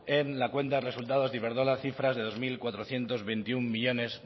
en la cuenta de resultados de iberdrola cifras de dos mil cuatrocientos veintiuno millónes